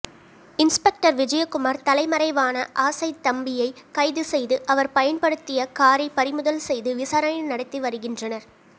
inspector Vijayakumar தலைமறைவான ஆசைதம்பியை கைது செய்து அவர் பயன்படுத்திய காரை பறிமுதல் செய்து விசாரணை நடத்தி வருகின்றனர்